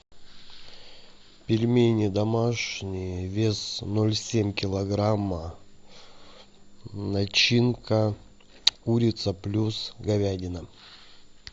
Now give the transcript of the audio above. пельмени домашние вес ноль семь килограмма начинка курица плюс говядина